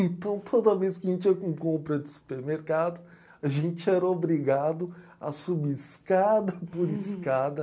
Então, toda vez que a gente ia com compra de supermercado, a gente era obrigado a subir escada por escada.